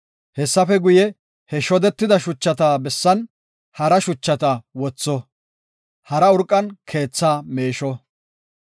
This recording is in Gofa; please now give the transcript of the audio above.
Hessafe guye, he shodetida shuchata bessan hara shuchata wotho; hara urqan keethaa meesho.